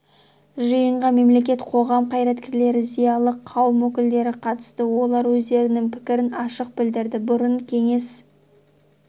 жиынға мемлекет қоғам қайраткерлері зиялы қауым өкілдері қатысты олар өздерінің пікірін ашық білдірді бұрын кеңес